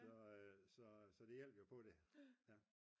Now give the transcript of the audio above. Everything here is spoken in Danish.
så det hjalp jo på det